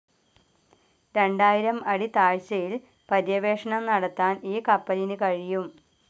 രണ്ടായിരം അടി താഴ്ചയിൽ പര്യവേഷണം നടത്താൻ ഈ കപ്പലിനു കഴിയും.